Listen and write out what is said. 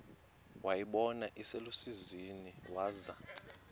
wayibona iselusizini waza